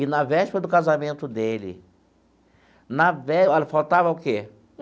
E na véspera do casamento dele na vé olha, faltava o quê?